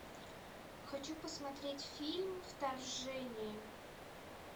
хочу посмотреть фильм вторжение